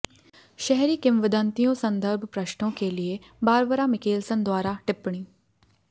शहरी किंवदंतियों संदर्भ पृष्ठों के लिए बारबरा मिकेलसन द्वारा टिप्पणी